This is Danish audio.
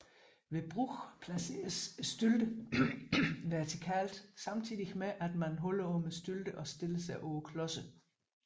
Ved brug placeres stylterne vertikalt samtidig med at man holder om stylterne og stiller sig på klodserne